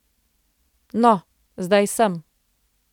No, zdaj sem.